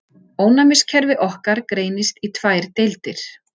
Ónæmiskerfi okkar greinist í tvær deildir.